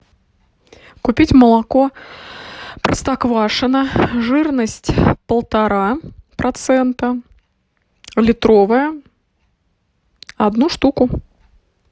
купить молоко простоквашино жирность полтора процента литровое одну штуку